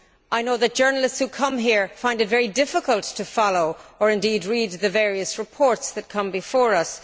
I know that journalists who come here find it very difficult to follow or indeed read the various reports that come before us.